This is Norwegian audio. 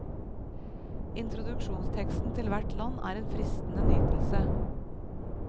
Introduksjonsteksten til hvert land er en fristende nytelse.